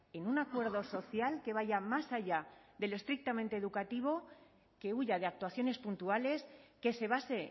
en un acuerdo social que vaya más allá del estrictamente educativo que huya de actuaciones puntuales que se base